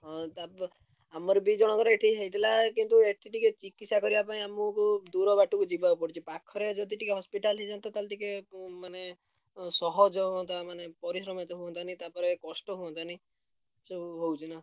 ହଁ ତାର ତ ଆମର ଦି ଜଣଙ୍କର ଏଠି ହେଇଥିଲା କିନ୍ତୁ ଏଠି ଏଠି ଟିକେ ଚିକିତ୍ସା କରିବା ପାଇଁ ଆମୁକୁ ଦୂର ବାଟକୁ ଯିବାକୁ ପଡୁଛି ପା ଖରେ ଯଦି ଟିକେ hospital ହେଇଯାନ୍ତା ତାହେଲେ ଟିକେ ଉଁ ମାନେ ଉଁ ସହଜ ହଅନ୍ତା ମାନେ ପରିଶ୍ରମ ଏତେ ହଅନ୍ତାନି, ତାପରେ କଷ୍ଟ ହଅନ୍ତାନି ଏସବୁ ହଉଛି ନା।